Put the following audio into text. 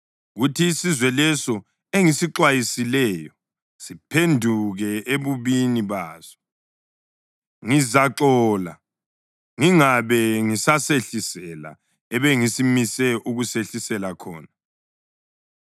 kuthi isizwe leso engisixwayisileyo siphenduke ebubini baso, ngizaxola ngingabe ngisasehlisela ebesengimise ukusehlisela khona.